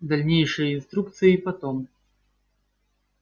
дальнейшие инструкции потом